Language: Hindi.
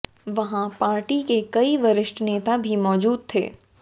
वहां पार्टी के कई वरिष्ठ नेता भी मौजूद थे